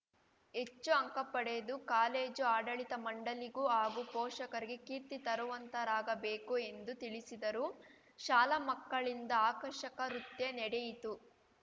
ಹೆಚ್ಚು ಅಂಕ ಪಡೆದು ಕಾಲೇಜು ಆಡಳಿತ ಮಂಡಳಿಗೂ ಹಾಗೂ ಪೋಷಕರಿಗೆ ಕೀರ್ತಿ ತರುವಂತಾರಾಗಬೇಕು ಎಂದು ತಿಳಿಸಿದರು ಶಾಲಾ ಮಕ್ಕಳಿಂದ ಆಕರ್ಷಕ ರುತ್ಯ ನಡೆಯಿತು